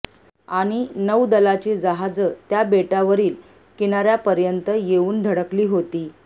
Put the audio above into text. आणी नैदलाची जहाजं त्या बेटावरील कीनाऱ्यापर्यतं येऊन धडकली होती